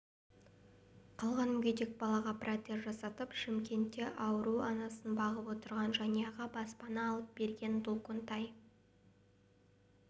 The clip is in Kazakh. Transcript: қалған мүгедек балаға протез жасатып шымкентте ауру анасын бағып отырған жанұяға баспана алып берген долкунтай